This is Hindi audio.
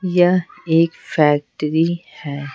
यह एक फैक्ट्री है।